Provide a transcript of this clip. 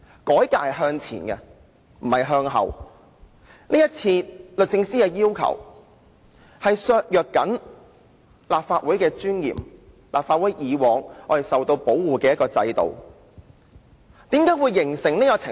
改革應是向前，而不是向後；今次律政司的要求正正削弱了立法會的尊嚴，以及過往一直保護着立法會議員的制度。